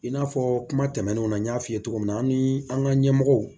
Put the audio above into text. I n'a fɔ kuma tɛmɛnenw na n y'a f'i ye cogo min na an ni an ka ɲɛmɔgɔw